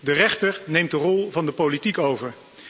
De rechter neemt de rol van de politiek over.